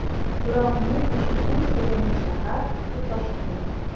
Biroq men uchun eng sevimli shahar bu Toshkent.